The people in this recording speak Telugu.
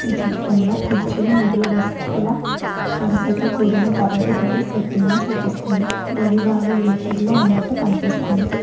ఈ చిత్రంలో కుర్చీలు మరియు డెస్కుల వరుసతో కూడిన తరగతి గడి సెట్టింగ్ లో చూపిస్తుంది గది బాగా వెలుతురులో ఉన్నట్టు కనిపిస్తుంది.